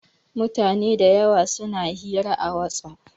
Mutane da yawa suna hira a WhatsApp.